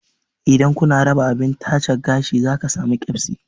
Idan kuna raba abin tace gashi za ka samu keɓsi